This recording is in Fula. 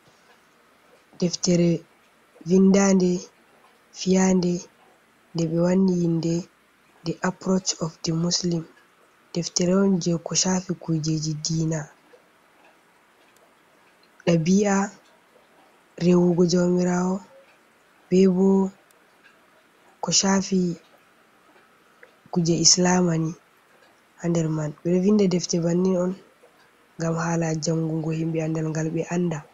Ɗeftere vindanɗe, fiyanɗe, ɗe ɓe wani inɗe, ɗi apuroac op ɗe muslim. Ɗeftere on je ko shafi kujeje ɗiina. Ɗabi’a, rehugo jamirawo, ɓe ɓo ko shafi kuje islama ni ha nɗer man. Ɓeɗo vinɗa ɗefter banni on, ngam hala jangugo himɓe anɗalgal ɓe anɗa.